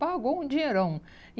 Pagou um dinheirão. E